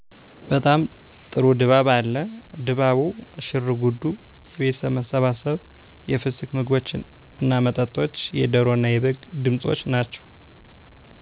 በጣም ጥሩ ድባብ አለ። ድባቡ፤ ሽርጉዱ፤ የቤተሠብ መሠባሠብ፤ የፍስክ ምግቦች እና መጠጦች፤ የደሮ እና የበግ ድምፆች ናቸው።